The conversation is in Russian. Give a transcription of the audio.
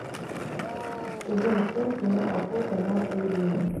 сезон семь кино охота на приведений